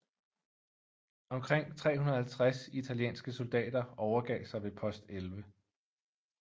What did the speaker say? Omkring 350 italienske soldater overgav sig ved Post 11